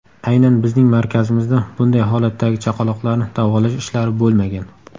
Aynan bizning markazimizda bunday holatdagi chaqaloqlarni davolash ishlari bo‘lmagan.